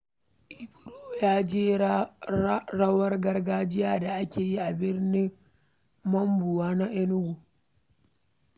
Ibro ya ji daɗin rawar gargajiya da aka yi a bikin Mmawu na Enugu.